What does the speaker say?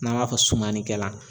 N'an b'a fɔ sumanikɛla.